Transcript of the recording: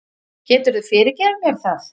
Geturðu fyrirgefið mér það?